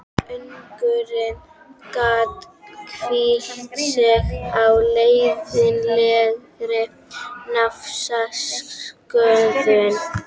Unglingurinn gat hvílt sig á leiðinlegri naflaskoðun.